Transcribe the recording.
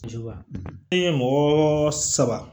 E ye mɔgɔ saba